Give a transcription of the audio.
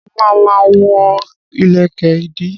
Mo ma ma wọ́ ìlẹ̀kẹ̀ ìdí